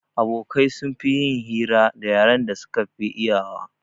Abokai sun fi yin hira da yaren da suka fi iyawa